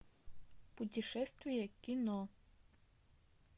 путешествие кино